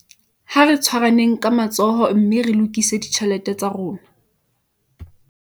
Ha re tshwaraneng ka matsoho mme re lokise ditjhelete tsa rona